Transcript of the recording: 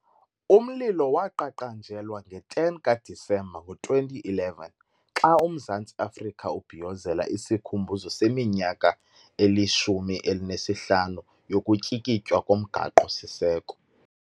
Umlilo waqaqanjelwa nge-10 ka-Disemba ngo-2011 xa uMzantsi Afrika ubhiyozela isikhumbuzo seminyaka eli-15 yokutyikitywa komgaqo siseko.